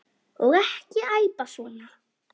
Og ekki æpa svona.